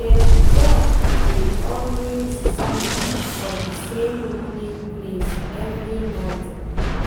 dem duck dey always sleep for the same wooden place every night